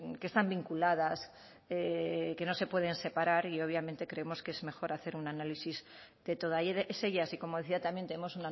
que están vinculadas que no se pueden separar y obviamente creemos que es mejor hacer un análisis de todas ellas y como decía también tenemos